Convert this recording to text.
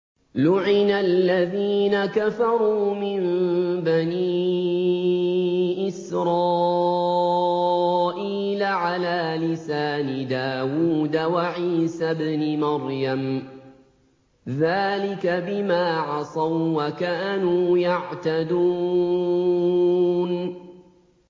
لُعِنَ الَّذِينَ كَفَرُوا مِن بَنِي إِسْرَائِيلَ عَلَىٰ لِسَانِ دَاوُودَ وَعِيسَى ابْنِ مَرْيَمَ ۚ ذَٰلِكَ بِمَا عَصَوا وَّكَانُوا يَعْتَدُونَ